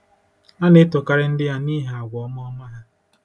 A na-etokarị ndị ya n'ihi àgwà ọma ọma ha.